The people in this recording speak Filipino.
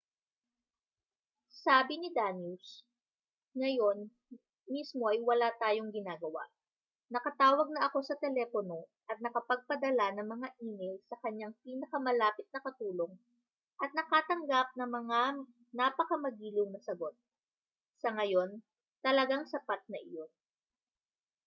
sabi ni danius ngayon mismo ay wala tayong ginagawa nakatawag na ako sa telepono at nakapagpadala ng mga e-mail sa kaniyang pinakamalapit na katulong at nakatanggap ng mga napakamagiliw na sagot sa ngayon talagang sapat na iyon